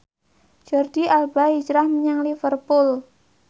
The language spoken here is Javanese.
Jordi Alba hijrah menyang Liverpool